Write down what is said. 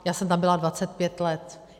Já jsem tam byla 25 let.